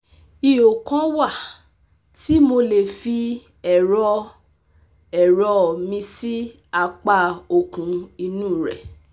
ihò kan wà tí mo lè fi ẹ̀rọ ẹ̀rọ mi sí apá òkun inú rẹ̀